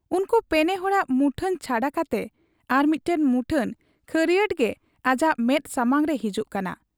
ᱩᱱᱠᱩ ᱯᱮᱱᱮ ᱦᱚᱲᱟᱜ ᱢᱩᱴᱷᱟᱹᱱ ᱪᱷᱟᱰᱟ ᱠᱟᱛᱮ ᱟᱨᱢᱤᱫᱴᱟᱹᱝ ᱢᱩᱴᱷᱟᱹᱱ ᱠᱷᱟᱹᱨᱭᱟᱸᱴᱜᱮ ᱟᱡᱟᱜ ᱢᱮᱫ ᱥᱟᱢᱟᱝᱛᱮ ᱦᱤᱡᱩᱜ ᱠᱟᱱᱟ ᱾